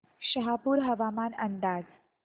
शहापूर हवामान अंदाज